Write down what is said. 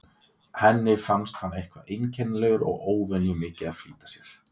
Henni fannst hann eitthvað einkennilegur og óvenju mikið að flýta sér.